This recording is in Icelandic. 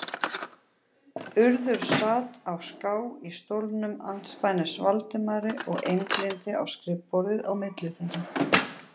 Urður sat á ská í stólnum andspænis Valdimari og einblíndi á skrifborðið á milli þeirra.